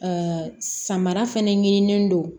samara fɛnɛ ɲinini don